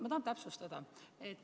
Ma tahan täpsustada.